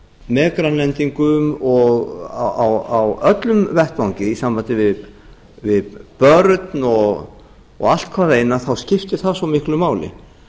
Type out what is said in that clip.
með grænlendingum og á öllum vettvangi í sambandi við börn og allt hvað eina þá skiptir það svo miklu máli